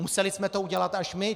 Museli jsme to udělat až my.